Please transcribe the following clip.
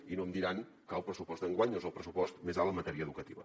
i no em diran que el pressupost d’enguany no és el pressupost més alt en matèria educativa